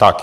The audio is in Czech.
Tak.